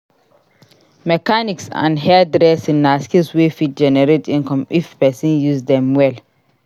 Mechanics and hairdressing na skills wey fit generate income if pesin use dem well.